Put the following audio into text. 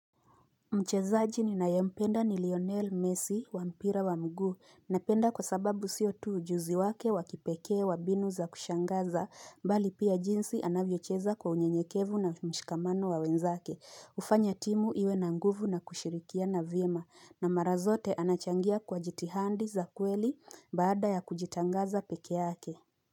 Mchezaji ninayampenda ni Lionel Messi wa mpira wa mguu napenda kwa sababu sio tu ujuzi wake wa kipekee wa mbinu za kushangaza mbali pia jinsi anavyocheza kwa unyenyekevu na mshikamano wa wenzake hufanya timu iwe na nguvu na kushirikia na vyema na mara zote anachangia kwa jitihandi za kweli baada ya kujitangaza pekeake.